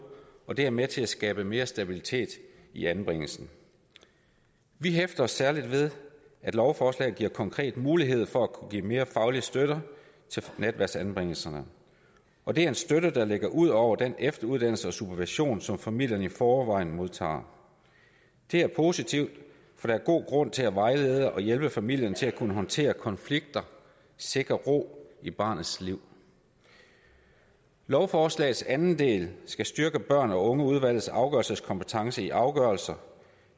og det er med til at skabe mere stabilitet i anbringelsen vi hæfter os særlig ved at lovforslaget giver konkrete muligheder for at kunne give mere faglig støtte til netværksanbringelserne og det er en støtte der ligger ud over den efteruddannelse og supervision som familierne i forvejen modtager det er positivt for der er god grund til at vejlede og hjælpe familien til at kunne håndtere konflikter og sikre ro i barnets liv lovforslagets anden del skal styrke børn og unge udvalgets afgørelseskompetence i afgørelser